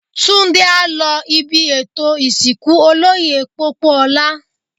Túndé á lọ ibi ètò ìsìnkú Olóyè Pópóọlá.